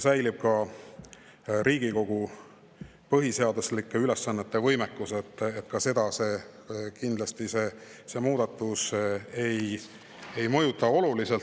Säilib Riigikogu põhiseaduslike ülesannete tegemise võimekus: muudatus seda oluliselt kindlasti ei mõjuta.